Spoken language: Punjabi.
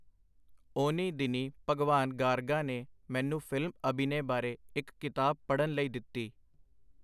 ਉਹਨੀਂ ਦਿਨੀਂ ਭਗਵਾਨ ਗਾਰਗਾ ਨੇ ਮੈਨੂੰ ਫਿਲਮ-ਅਭਿਨੇ ਬਾਰੇ ਇਕ ਕਿਤਾਬ ਪੜ੍ਹਨ ਲਈ ਦਿੱਤੀ.